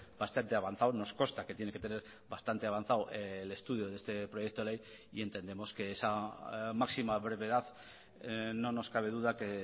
bastante avanzado nos consta que tiene que tener bastante avanzado el estudio de este proyecto de ley y entendemos que esa máxima brevedad no nos cabe duda que